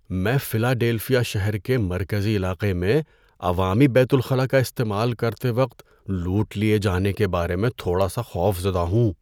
میں فلاڈیلفیا شہر کے مرکزی علاقے میں عوامی بیت الخلاء کا استعمال کرتے وقت لوٹ لیے جانے کے بارے میں تھوڑا سا خوفزدہ ہوں۔